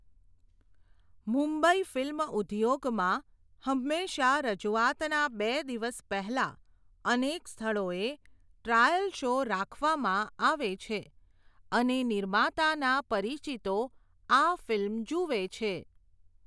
Mumbai film ઉધ્યોગમાં હંમેશાં રજુવાતના બે દિવસ પહેલાં, અનેક સ્થળોએ ટ્રાયલ શો રાખવામાં આવે છે, અને નિર્માતાના પરિચિતો આ ફિલ્મ જુવે છે.